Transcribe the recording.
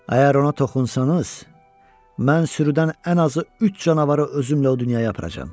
Əgər ona toxunsanız, mən sürüdən ən azı üç canavarı özümlə o dünyaya aparacam.